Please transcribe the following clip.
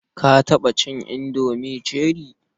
Ka taɓa cin indomi cherie?